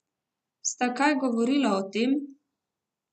Sta kaj govorila o tem?